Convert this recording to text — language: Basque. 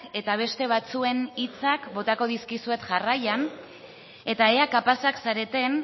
eta beste batzuen hitza botako dizkizuet jarraian eta ea kapazak zareten